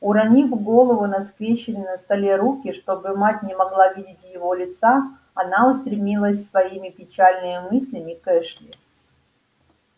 уронив голову на скрещённые на столе руки чтобы мать не могла видеть его лица она устремилась своими печальными мыслями к эшли